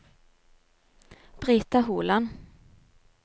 Brita Holand